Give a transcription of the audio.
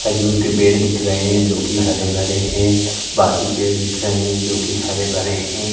खजूर के पेड़ दिख रहे हैं जो कि हरे-भरे हैं बाकी पेड़ दिख रहे हैं जो कि हरे-भरे हैं।